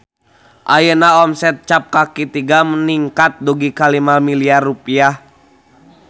Ayeuna omset Cap Kaki Tiga ningkat dugi ka 5 miliar rupiah